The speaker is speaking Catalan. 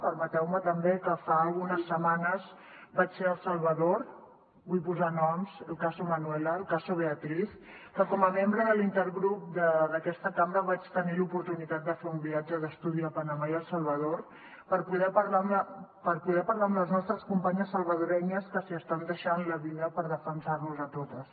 permeteu me també que fa algunes setmanes vaig ser a el salvador vull posar noms el caso manuela el beatriz que com a membre de l’intergrup d’aquesta cambra vaig tenir l’oportunitat de fer un viatge d’estudi a panamà i a el salvador per poder parlar amb les nostres companyes salvadorenyes que s’hi estan deixant la vida per defensar nos a totes